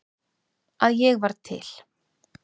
Að ég varð til.